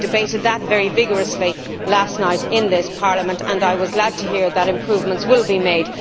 We debated that very vigorously last night in this Parliament and I was glad to hear that improvements will be made.